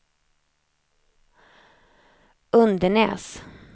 Undenäs